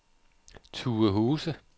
Tuehuse